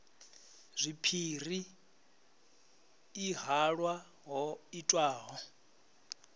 zwipiri i halwa ho itwaho